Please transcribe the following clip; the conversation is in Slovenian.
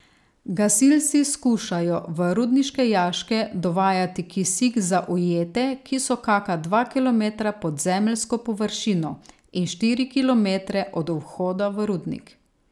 Gasilci skušajo v rudniške jaške dovajati kisik za ujete, ki so kaka dva kilometra pod zemeljsko površino in štiri kilometre od vhoda v rudnik.